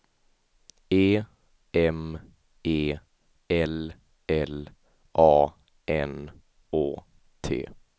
E M E L L A N Å T